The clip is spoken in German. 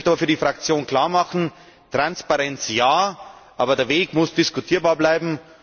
Ich möchte aber für die Fraktion klarmachen Transparenz ja, aber der Weg muss diskutierbar bleiben.